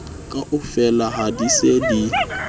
kaofela ha di se di